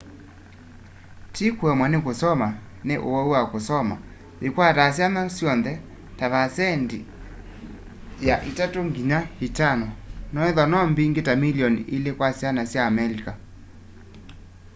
ti kuemwa nikusoma ni uwau wa kusoma yikwataa syana syonthe ta vaasendi ya 3 nginya 5 noethwa no mbingi ta milioni 2 kwa syana sya amelika